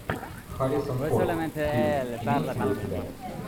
харрисон форд фильм имеется ли у тебя